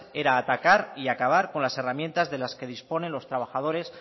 era atacar y acabar con las herramientas de las que disponen los trabajadores